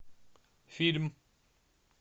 фильм